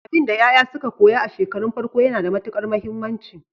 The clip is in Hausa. Abinda yaya suka koya a shekarun farko yana da matukar muhimmanci.